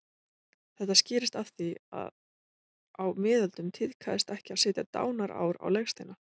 Þetta skýrist af því að á miðöldum tíðkaðist ekki að setja dánarár á legsteina.